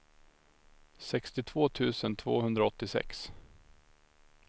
sextiotvå tusen tvåhundraåttiosex